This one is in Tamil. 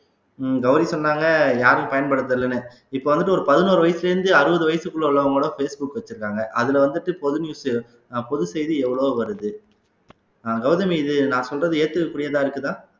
உம் கௌரி சொன்னாங்க யாரும் பயன்படுத்தறதில்லைன்னு இப்ப வந்துட்டு ஒரு பதினோரு வயசுல இருந்து அறுபது வயசுக்குள்ள உள்ளவங்க கூட ஃபேஸ் புக்வச்சிருக்காங்க அதுல வந்துட்டு பொது அஹ் பொது செய்தி எவ்வளவோ வருது அஹ் கௌதமி இது நான் சொல்றது ஏத்துக்கக் கூடியதா இருக்குதா